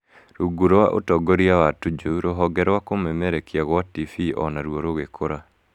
Rungu rwa ũtongoria wa Tuju, rũhonge rwa kũmemerekia gwa TV o naruo rũgĩkũra